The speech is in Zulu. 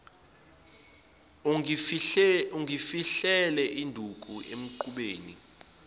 ungifihlele induku emqubeni